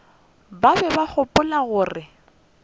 ba be ba gopola gore